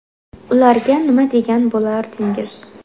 Ularga nima degan bo‘lardingiz?